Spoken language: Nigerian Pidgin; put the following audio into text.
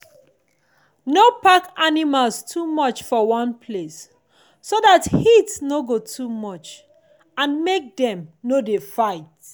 no pack animals too much for one place so that heat no go too much and make dem no dey fight.